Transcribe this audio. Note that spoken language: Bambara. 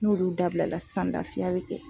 N'olu dabila la sisan lafiya bɛ kɛ.